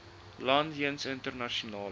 land jeens internasionale